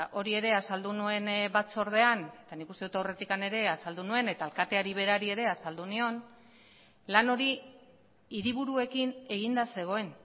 hori ere azaldu nuen batzordean eta nik uste dut aurretik ere azaldu nuen eta alkateari berari ere azaldu nion lan hori hiriburuekin eginda zegoen